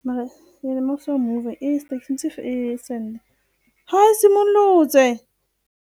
e simolotse.